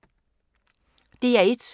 DR1